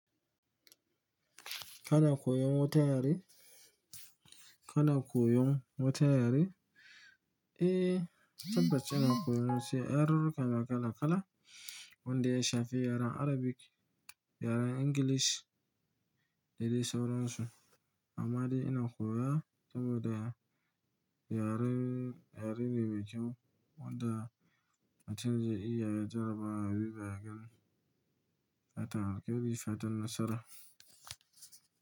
Kana koyon wata yare? Kana koyon wata yare? Eh, tabbat ina koyo, sai yarurruka kala kala wanda ya shafi yaren Arabic, yaren English da dai sauran su. Amma dai ina koya saboda yaren, yare ne mai kyau wanda mutum zai iya ya jaraba ya duba ya gani, fatan alkhairi fatan nasara.